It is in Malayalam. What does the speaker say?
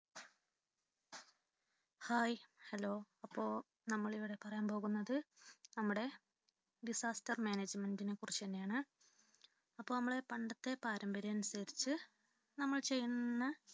Hihello അപ്പൊ നമ്മൾ ഇവിടെ പറയാൻ പോകുന്നത് നമ്മുടെ disastermanagement നെ കുറിച്ചു തന്നെയാണ് അപ്പൊ നമ്മുടെ പണ്ടത്തെ പാരമ്പര്യം അനുസരിച്ചു നമ്മൾ ചെയ്യുന്ന